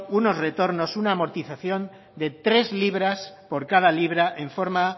unos retornos una amortización de tres libras por cada libra en forma